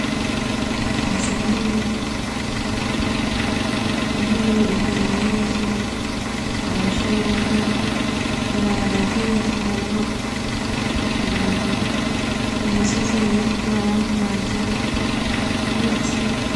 inzu nini intebe imbere y'inzu amashugwe ibarabarara ry' ibivu hariho utubuye imisozi hirya yandi mazu ibiti